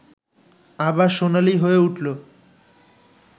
আবার সোনালি হয়ে উঠল